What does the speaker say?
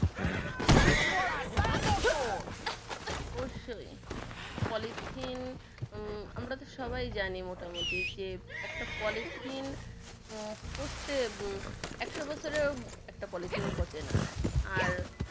অবশ্যৈ polythene উম আমরা তো সবাই জানি মোটামোটি যে একটা polythene উম পঁচতে উম একশো বছরেও একটা polythene পচে না আর